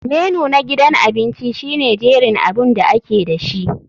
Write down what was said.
Menu na gidan abinci shine jerin abun da ake dashi.